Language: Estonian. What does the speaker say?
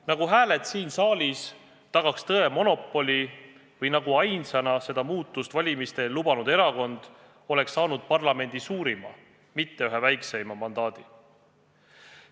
Nagu hääled siin saalis tagaks tõe monopoli või nagu ainsana seda muudatust valimiste eel lubanud erakond oleks saanud parlamendi suurima, mitte ühe väikseima mandaadi.